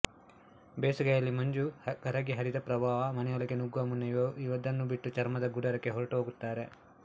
ಬೇಸಗೆಯಲ್ಲಿ ಮಂಜು ಕರಗಿ ಹರಿದ ಪ್ರವಾಹ ಮನೆಯೊಳಗೆ ನುಗ್ಗುವ ಮುನ್ನವೇ ಇದನ್ನು ಬಿಟ್ಟು ಚರ್ಮದ ಗುಡಾರಕ್ಕೆ ಹೊರಟು ಹೋಗುತ್ತಾರೆ